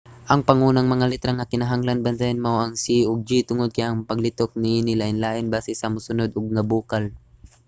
ang pangunang mga letra nga kinahanglan bantayan mao ang c ug g tungod kay ang paglitok niini lainlain basi sa mosunod nga bokal